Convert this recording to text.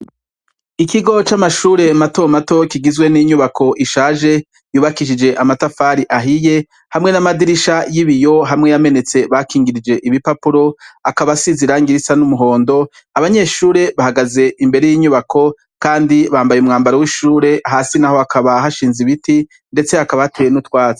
Ikigo c'amashure mato mato kigizwe n'inyubako ishaje, yubakishije amatafari ahiye, hamwe n'amadirisha y'ibiyo hamwe yamenetse bakingirije ibipapuro, akaba asize irangi risa n'umuhondo, abanyeshure bahagaze imbere y'inyubako kandi bambaye umwambaro w'ishure, hasi naho hakaba hashinze ibiti, ndetse hakaba hateye n'utwatsi.